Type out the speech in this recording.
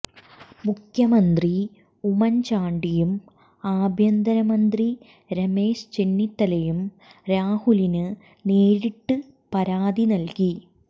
മുഖ്യമന്ത്രി ഉമ്മന്ചാണ്ടിയും ആഭ്യന്തരമന്ത്രി രമേശ് ചെന്നിത്തലയും രാഹുലിന് നേരിട്ട് പരാതി നല്കി